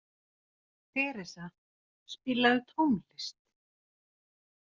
Theresa, spilaðu tónlist.